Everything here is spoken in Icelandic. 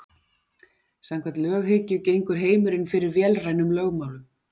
Samkvæmt löghyggju gengur heimurinn fyrir vélrænum lögmálum.